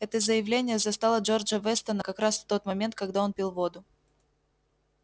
это заявление застало джорджа вестона как раз в тот момент когда он пил воду